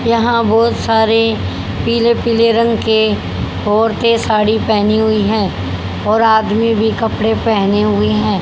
यहां बहोत सारे पीले पीले रंग के औरतें साड़ी पहनी हुई है और आदमी भी कपड़े पहने हुए हैं।